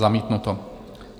Zamítnuto.